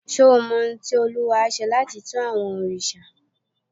Ṣé o mọ ohun tí olúwo á ṣe láti tu àwọn òrìṣà?